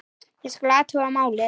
Ég skal athuga málið